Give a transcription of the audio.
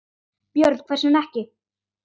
Björn: Hvers vegna ekki?